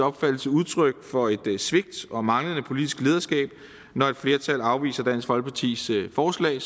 opfattelse udtryk for et svigt og manglende politisk lederskab når et flertal afviser dansk folkepartis forslag